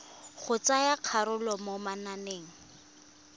go tsaya karolo mo mananeng